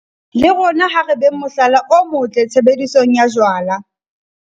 Le rona ha re beng mohlala o motle tshebedisong ya jwala.